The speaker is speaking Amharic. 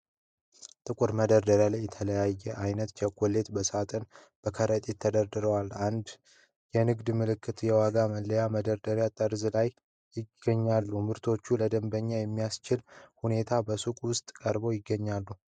ጥቁር መደርደሪያዎች ላይ የተለያየ ዓይነት ቸኮሌቶች በሳጥንና በከረጢት ተደርድረዋል። የንግድ ምልክቶችና የዋጋ መለያዎች በመደርደሪያው ጠርዝ ላይ ይታያሉ። ምርቶቹ ለደንበኞች በሚያስችል ሁኔታ በሱቅ ውስጥ ቀርበው ይገኛሉ።